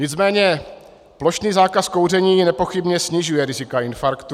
Nicméně plošný zákaz kouření nepochybně snižuje rizika infarktu.